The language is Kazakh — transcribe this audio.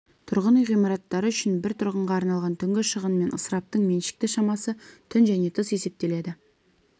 тұрғын үй ғимараттары үшін бір тұрғынға арналған түнгі шығын мен ысыраптың меншікті шамасы түн және тыс есептеледі